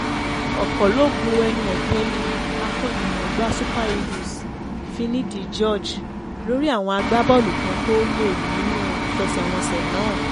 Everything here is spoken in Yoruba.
ọ̀pọ̀ ló bu ẹnu ètè lu akó̩nimò̩ó̩gbá super eagles finidi george lórí àwọn agbábọ́ọ̀lù kan tó lò nínú ìfe̩sè̩wo̩nsè̩ náà